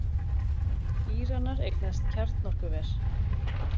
Íranar eignast kjarnorkuver